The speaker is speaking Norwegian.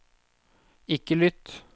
ikke lytt